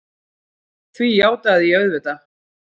Því játaði ég auðvitað.